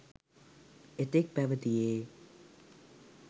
එතෙක් පැවතියේ